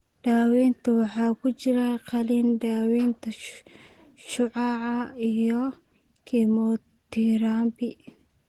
Daaweynta waxaa ku jiri kara qalliin, daawaynta shucaaca, iyo kiimoterabi.